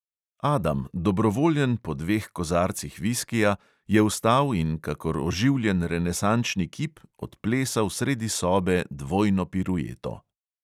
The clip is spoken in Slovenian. Adam, dobrovoljen po dveh kozarcih viskija, je vstal in kakor oživljen renesančni kip odplesal sredi sobe dvojno pirueto.